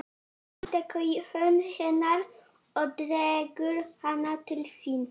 Hann tekur í hönd hennar og dregur hana til sín.